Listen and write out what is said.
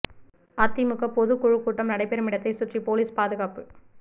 அதிமுக பொதுக் குழு கூட்டம் நடைபெறும் இடத்தை சுற்றி போலீஸ் பாதுகாப்பு